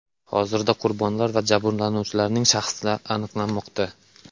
Hozirda qurbonlar va jabrlanuvchilarning shaxsi aniqlanmoqda.